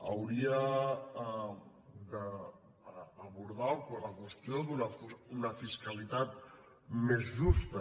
hauria d’abordar la qüestió d’una fiscalitat més justa